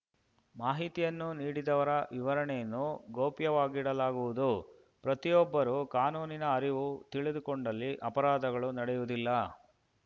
ಮಾಹಿತಿಯನ್ನು ನೀಡಿದವರ ವಿವರಣೆಯನ್ನು ಗೌಪ್ಯವಾಗಿಡಲಾಗುವುದು ಪ್ರತಿಯೊಬ್ಬರೂ ಕಾನೂನಿನ ಅರಿವು ತಿಳಿದುಕೊಂಡಲ್ಲಿ ಅಪರಾಧಗಳು ನಡೆಯುವುದಿಲ್ಲ